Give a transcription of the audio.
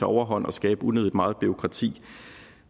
overhånd og skabe unødig meget bureaukrati